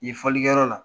Yen fɔlikɛyɔrɔ la